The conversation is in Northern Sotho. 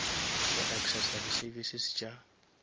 go accessa di services tša